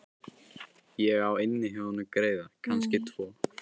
Ég á inni hjá honum greiða, kannski tvo.